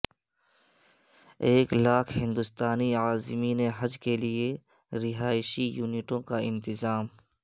ایک لاکھ ہندوستانی عازمین حج کے لئے رہائشی یونٹوں کا انتظام